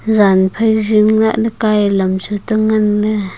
jan phai zing lahley ka ai lam chu cheta nganley.